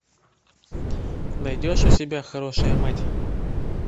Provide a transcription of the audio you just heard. найдешь у себя хорошая мать